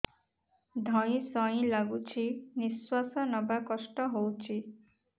ଧଇଁ ସଇଁ ଲାଗୁଛି ନିଃଶ୍ୱାସ ନବା କଷ୍ଟ ହଉଚି